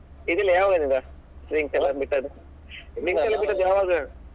ಇದೆಲ್ಲ ಯಾವಾಗದಿಂದ drink ಎಲ್ಲ ಬಿಟ್ಟದ್ದು drink ಎಲ್ಲ ಬಿಟ್ಟದ್ದು ಯಾವಾಗ.